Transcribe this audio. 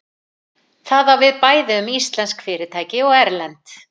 Það á bæði við um íslensk fyrirtæki og erlend.